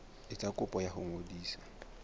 etsa kopo ya ho ngodisa